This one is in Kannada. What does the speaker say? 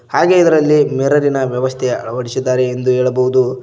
ಹಾಗೆ ಇದರಲ್ಲಿ ಮಿರರಿನ ವ್ಯವಸ್ಥೆಯ ಅಳವಡಿಸಿದ್ದಾರೆ ಎಂದು ಹೇಳಬಹುದು.